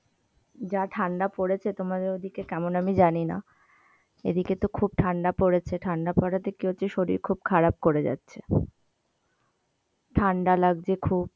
যা ঠান্ডা পড়েছে, তোমাদের ওই দিকে কেমন আমি জানি না এই দিকে তো খুব ঠান্ডা পড়েছে, ঠান্ডা পড়াতে কি হচ্ছে শরীর খারাপ করে যাচ্ছে ঠান্ডা লাগছে খুব